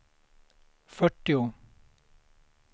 fyrtio